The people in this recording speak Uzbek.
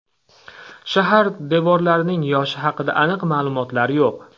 Shahar devorlarining yoshi haqida aniq ma’lumotlar yo‘q.